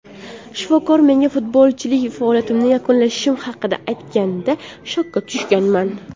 Shifokor menga futbolchilik faoliyatimni yakunlashim haqida aytganida shokka tushganman.